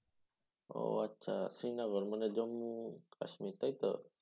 ও আচ্ছা শ্রীনগর মানে জম্মু কাশ্মীর তাই তো?